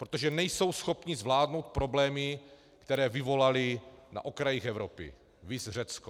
Protože nejsou schopny zvládnout problémy, které vyvolaly na okrajích Evropy, viz Řecko.